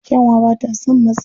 Kyanwa ba ta son matsi.